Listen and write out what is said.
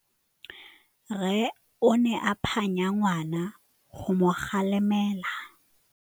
Rre o ne a phanya ngwana go mo galemela.